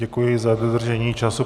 Děkuji za dodržení času.